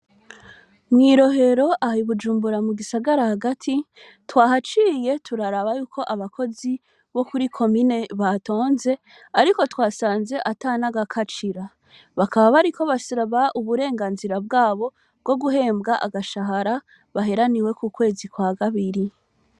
Mw'irohero aha ibujumbura mu gisagara hagati twahaciriye turaraba yuko abakozi bo kuri ko mine batonze, ariko twasanze atan aga kacira bakaba bari ko bashiraba uburenganzira bwabo bwo guhembwa agashahara baheraniwe ku kwezi kwa gabiri.